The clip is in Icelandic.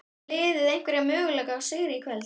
Á liðið einhverja möguleika á sigri í kvöld?